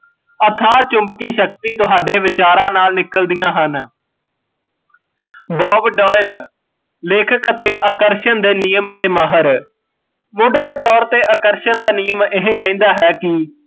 ਅਥਾਹ ਚੁਮਬਕੀਂ ਸ਼ਕਤੀ ਤੁਹਾਡੇ ਵਿਚਾਰਾਂ ਨਾਲ਼ ਨਿਕਲਦੀਂਆ ਹਨ, ਲੇਖਕ ਅਤੇ ਆਕਰਸ਼ਣ ਦੇ ਨਿਯਮ ਦੇ ਮਾਹਰ, ਮੁੱਢਲੇ ਤੋਰ ਤੇ ਆਕਰਸ਼ਣ ਦਾ ਨਿਯਮ ਇਹ ਕਹਿੰਦਾ ਹੈ ਕੀ